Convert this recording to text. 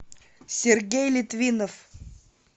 сергей литвинов